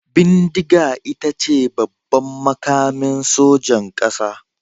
Bindiga ita ce babban makamin sojan kasa.